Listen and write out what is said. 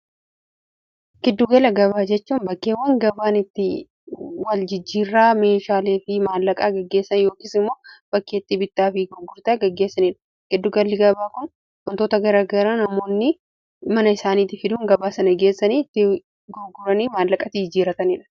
giddugala gabaa jechuun bakkeewwan gabaanitti wal jijjiirraa meeshaalee fi maallaqaa gaggeessan yookiis immoo bakkeetti bittaa fi gugurtaa gaggeessaniidha giddugalli gabaa kun gontoota garagara namoonni mana isaaniiti fiduun gabaasan ggeessaniiti guguranii maallaqati jiirataniidha